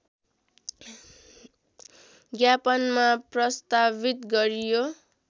ज्ञापनमा प्रस्तावित गरियो